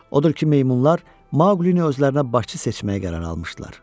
Odur ki, meymunlar Maqlini özlərinə başçı seçməyə qərar almışdılar.